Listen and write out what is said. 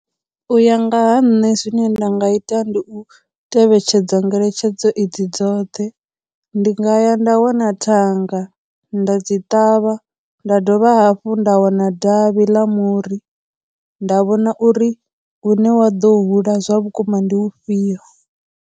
U ya nga ha nṋe zwine nda nga ita ndi u tevhetshedza ngeletshedzo edzi dzoṱhe, ndi nga ya nda wana thanga nda dzi ṱavha, nda dovha hafhu nda wana davhi ḽa muri nda vhona uri hu ne wa ḓo hula zwa vhukuma ndi ufhio.